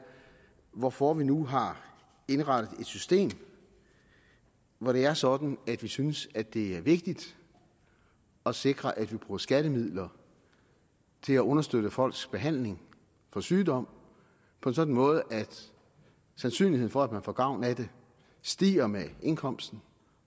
hvorfor vi nu har indrettet et system hvor det er sådan at vi synes at det er vigtigt at sikre at vi bruger skattemidler til at understøtte folks behandling for sygdom på en sådan måde at sandsynligheden for at man får gavn af det stiger med indkomsten